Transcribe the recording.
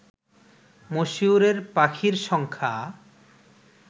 মশিউরের পাখির সংখ্যা